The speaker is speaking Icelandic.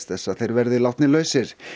þess að þeir verði látnir lausir